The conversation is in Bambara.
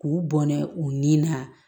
K'u bɔnɛ u ni na